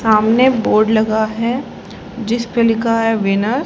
सामने बोर्ड लगा है जिस पे लिखा है विनर ।